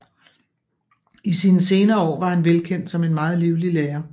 I sine senere år var han velkendt som en meget livlig lærer